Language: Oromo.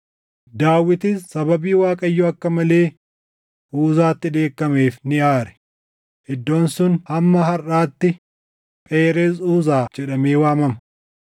Daawitis sababii Waaqayyo akka malee Uzaatti dheekkameef ni aare; iddoon sun hamma harʼaatti Phereez Uzaa jedhamee waamama.